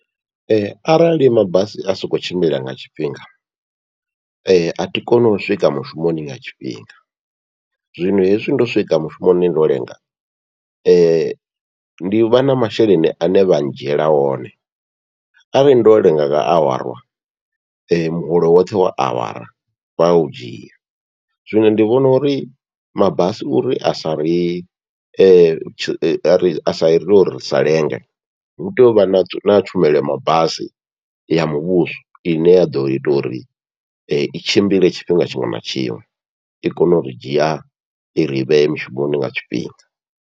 Arali mabasi a sokou tshimbila nga tshifhinga, athi koni u swika mushumoni nga tshifhinga zwino hezwi ndo swika mushumoni ndo lenga, ndi vha na masheleni ane vha ndzhiela one arali ndo lenga nga awara muholo woṱhe wa awara vha u dzhia, zwino ndi vhona uri mabasi uri asa ri asa ite uri ri sa lenge hu tea uvha na tshumelo ya mabasi ya muvhuso ine ya ḓo ita uri i tshimbile tshifhinga tshiṅwe na tshiṅwe, i kone uri dzhia iri vhee mushumoni nga tshifhinga.